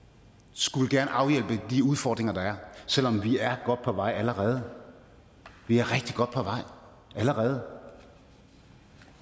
skulle afhjælpe de udfordringer der er selv om vi er godt på vej allerede vi er rigtig godt på vej allerede